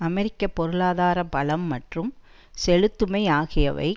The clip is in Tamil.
அமெரிக்க பொருளாதார பலம் மற்றும் செலுத்துமை ஆகியவை